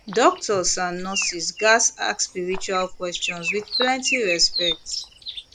doctors and nurses gats ask spiritual questions with plenty respect